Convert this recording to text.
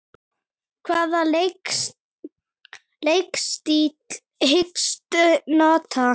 Nærvera hennar var hlý.